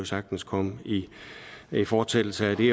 sagtens komme i fortsættelse af det